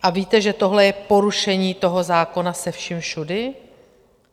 A víte, že tohle je porušení toho zákona se vším všudy?